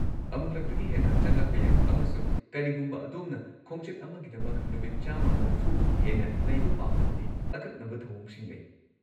ꯑꯃꯨꯛꯂꯛꯇꯒꯤ ꯍꯦꯟꯅ ꯆꯪꯂꯛꯄ ꯌꯥꯏ ꯑꯃꯁꯨꯡ ꯀꯔꯤꯒꯨꯝꯕ ꯑꯗꯣꯝꯅ ꯈꯣꯡꯆꯠ ꯑꯃꯒꯤꯗꯃꯛ ꯅꯨꯃꯤꯠ ꯱꯸꯰ ꯍꯦꯟꯅ ꯂꯩꯕ ꯄꯥꯝꯂꯕꯗꯤ ꯑꯀꯛꯅꯕ ꯊꯧꯑꯣꯡꯁꯤꯡ ꯂꯩ꯫